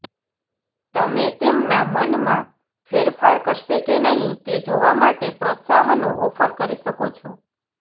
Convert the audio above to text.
તમે તેમના મનમાં ફેરફાર કરશે કે નહીં તે જોવા માટે પ્રોત્સાહનો ઑફર કરી શકો છો